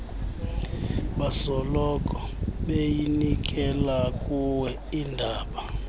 basoloko beyinikelakuwe indaba